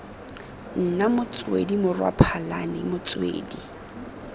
nna motswedi morwa phalane motswedi